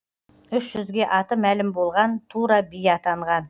үш жүзге аты мәлім болған тура би атанған